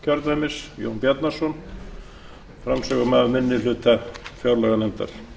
herra forseti ég mæli hér fyrir nefndaráliti minni hluta fjárlaganefndar